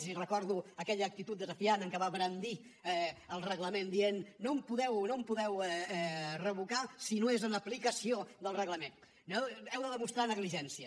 i recordo aquella actitud desafiant amb què va brandir el reglament dient no em podeu revocar si no és en aplicació del reglament heu de demostrar negligència